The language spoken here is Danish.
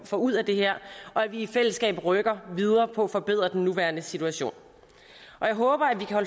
får ud af det her og at vi i fællesskab rykker videre på at forbedre den nuværende situation jeg håber at vi kan